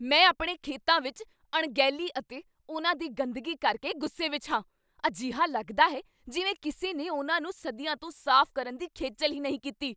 ਮੈਂ ਆਪਣੇ ਖੇਤਾਂ ਵਿੱਚ ਅਣਗਹਿਲੀ ਅਤੇ ਉਨ੍ਹਾਂ ਦੀ ਗੰਦਗੀ ਕਰਕੇ ਗੁੱਸੇ ਵਿੱਚ ਹਾਂ। ਅਜਿਹਾ ਲੱਗਦਾ ਹੈ ਜਿਵੇਂ ਕਿਸੇ ਨੇ ਉਨ੍ਹਾਂ ਨੂੰ ਸਦੀਆਂ ਤੋਂ ਸਾਫ਼ ਕਰਨ ਦੀ ਖੇਚੱਲ ਹੀ ਨਹੀਂ ਕੀਤੀ।